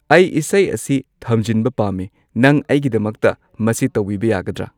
ꯑꯩ ꯏꯁꯩ ꯑꯁꯤ ꯊꯝꯖꯤꯟꯕ ꯄꯥꯝꯃꯤ ꯅꯪ ꯑꯩꯒꯤꯗꯃꯛꯇ ꯃꯁꯤ ꯇꯧꯕꯤꯕ ꯌꯥꯒꯗ꯭ꯔ